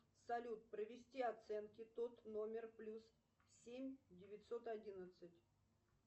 салют провести оценки тот номер плюс семь девятьсот одиннадцать